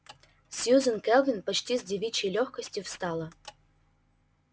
сьюзен кэлвин почти с девичьей лёгкостью встала